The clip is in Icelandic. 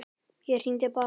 Ég hringi bara.